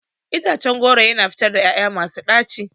Itacen goro yana fitar ƴaƴa masu ɗaci.